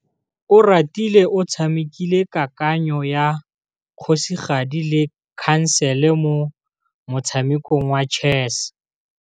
Oratile o tshamekile kananyô ya kgosigadi le khasêlê mo motshamekong wa chess.